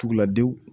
Tuguladenw